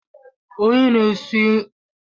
Onye na-esi nri ụgbọ mmiri na-enye anyị kọfị